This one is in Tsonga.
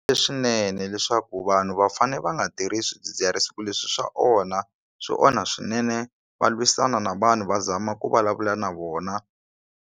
Leswinene leswaku vanhu va fane va nga tirhisi swidzidziharisi ku leswi swa onha swi onha swinene va lwisana na vanhu va zama ku vulavula na vona.